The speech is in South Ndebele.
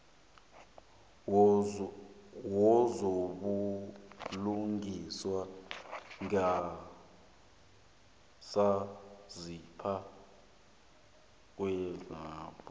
wezobulungiswa ngesaziso kugazethe